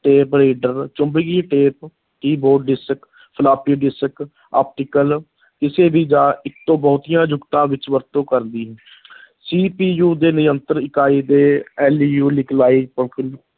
Tape reader ਚੁੰਬਕੀ tap, keyboard, disc, floppy disc, optical ਕਿਸੇ ਵੀ ਜਾਂ ਇੱਕ ਤੋਂ ਬਹੁਤੀਆਂ ਜੁਗਤਾਂ ਵਿੱਚ ਵਰਤੋਂ ਕਰਦੀ CPU ਦੇ-ਨਿਯੰਤਰਨ ਇਕਾਈ LU